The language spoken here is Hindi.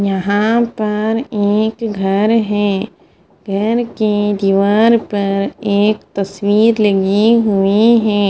यहा पर एक घर है घर के दीवाल पर एक तस्वीर लगी हुई है।